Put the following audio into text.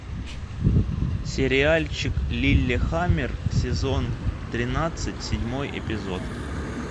сериальчик лиллехаммер сезон тринадцать седьмой эпизод